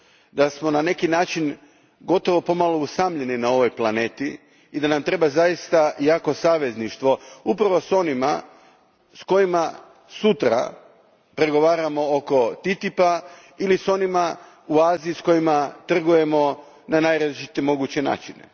da smo na neki način gotovo pomalo usamljeni na ovoj planeti i da nam treba zaista jako savezništvo upravo s onima s kojima sutra pregovaramo oko TTIP a ili s onima u Aziji s kojima trgujemo na najrazličitije moguće načine.